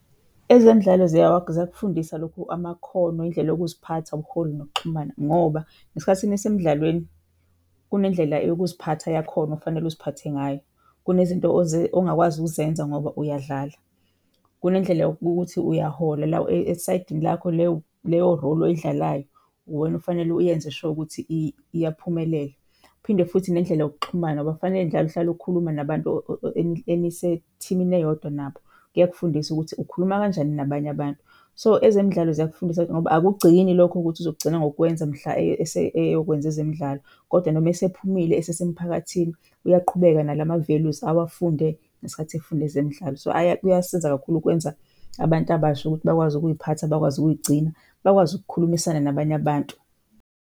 Ezemidlalo ziyakufundisa lokhu, amakhono, izindlela yokuziphatha, ubuholi nokuxhumana ngoba ngesikhathini nisemidlalweni kunendlela yokuziphatha yakhona okufanele uziphathe ngayo. Kunezinto ongakwazi ukuzenza ngoba uyadlala. Kunendlela yokuthi uyahola la esayidini lakho leyo leyo role oyidlalayo uwena okufanele uyenze sho ukuthi iyaphumelela. Uphinde futhi nendlela yokuxhumana ngoba kufanele njalo uhlala ukhuluma nabantu enisethimini eyodwa nabo, kuyakufundisa ukuthi ukhuluma kanjani nabanye abantu. So ezemidlalo ziyakufundisa ngoba akugcini lokho ukuthi uzogcina ngokukwenza mhla eyokwenza ezemidlalo, kodwa noma esephumile esesemphakathini uyaqhubeka nala ma-values awafunde ngesikhathi efunda ezemidlalo. So kuyasiza kakhulu ukwenza abantu abasha ukuthi bakwazi ukuy'phatha, bakwazi ukuyigcina, bakwazi ukukhulumisana nabanye abantu.